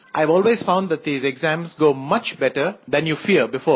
I have always found that these exams go much better than you fear before